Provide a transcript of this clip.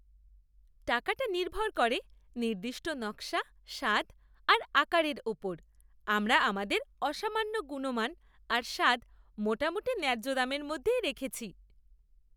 টাকাটা নির্ভর করে নির্দিষ্ট নকশা, স্বাদ আর আকারের ওপর। আমরা আমাদের অসামান্য গুণমান আর স্বাদ মোটামুটি ন্যায্য দামের মধ্যেই রেখেছি।